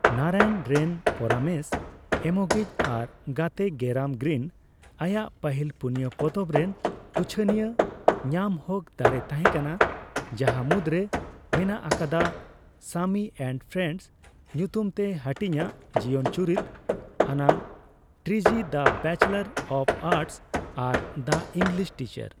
ᱱᱟᱨᱟᱭᱚᱱ ᱨᱮᱱ ᱯᱚᱨᱟᱢᱮᱥ ᱮᱢᱚᱜᱤᱡ ᱟᱨ ᱜᱟᱛᱮ ᱜᱮᱨᱟᱢ ᱜᱨᱤᱱ ᱟᱭᱟᱜ ᱯᱟᱹᱦᱤᱞ ᱯᱩᱱᱭᱟᱹ ᱯᱚᱛᱚᱵ ᱨᱮᱱ ᱩᱪᱷᱟᱹᱱᱤᱭᱟᱹ ᱧᱟᱢ ᱦᱚᱠ ᱫᱟᱨᱮ ᱛᱟᱦᱮᱸᱠᱟᱱᱟ, ᱡᱟᱦᱟᱸ ᱢᱩᱫᱽᱨᱮ ᱢᱮᱱᱟᱜ ᱟᱠᱟᱫᱟ 'ᱥᱟᱢᱤ ᱮᱱᱰ ᱯᱷᱮᱨᱮᱱᱰᱥ' ᱧᱩᱛᱩᱢ ᱛᱮ ᱦᱟᱹᱴᱤᱧᱟᱜᱼᱡᱤᱭᱚᱱ ᱪᱩᱨᱤᱛ ᱟᱱᱟᱜ ᱴᱨᱤᱡᱤ, 'ᱫᱟ ᱵᱮᱪᱮᱞᱟᱨ ᱚᱯ ᱟᱨᱴᱥ' ᱟᱨ 'ᱫᱟ ᱤᱝᱞᱤᱥ ᱴᱤᱪᱟᱨ' ᱾